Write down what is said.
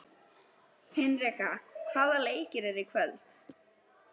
Hinrikka, hvaða leikir eru í kvöld?